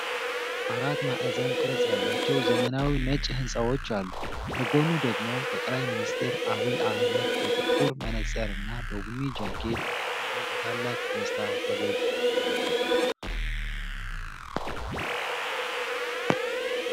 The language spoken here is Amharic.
አራት ማዕዘን ቅርፅ ያላቸው ዘመናዊ ነጭ ሕንፃዎች አሉ። ከጎኑ ደግሞ ጠቅላይ ሚኒስትር ዐቢይ አሕመድ በጥቁር መነጽርና በቡኒ ጃኬት ሆነው በታላቅ ደስታ ፈገግ ይላሉ።